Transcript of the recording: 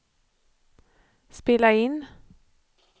spela in